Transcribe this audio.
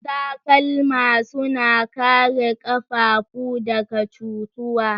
Takalma suna kare ƙafafu daga cutuwa.